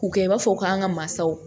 K'u kɛ i b'a fɔ k'an ka mansaw